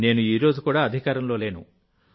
నేను ఈ రోజు కూడా అధికారంలో లేను